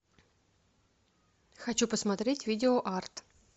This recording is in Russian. хочу посмотреть видео арт